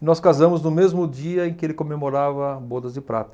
E nós casamos no mesmo dia em que ele comemorava Bodas de Prata.